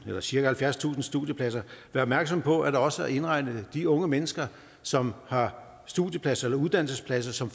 her cirka halvfjerdstusind studiepladser være opmærksomme på at der også er indregnet de unge mennesker som har studiepladser eller uddannelsespladser som